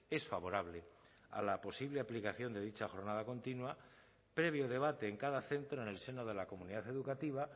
es favorable a la posible aplicación de dicha jornada continua previo debate en cada centro en el seno de la comunidad educativa